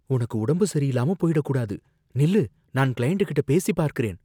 உனக்கு உடம்பு சரியில்லாம போயிடக் கூடாது. நில்லு, நான் கிளையண்ட் கிட்ட பேசிப் பார்க்கிறேன்